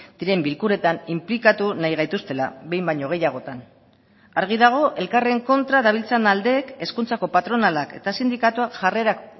diren bilkuretan inplikatu nahi gaituztela behin baino gehiagotan argi dago elkarren kontra dabiltzan aldeek hezkuntzako patronalak eta sindikatuak jarrerak